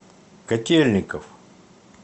котельников